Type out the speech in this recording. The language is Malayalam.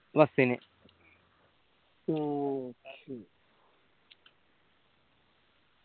bus ന് ഉം